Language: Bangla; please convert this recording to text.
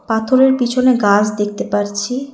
পাথরের পিছনে গাস দেখতে পারছি।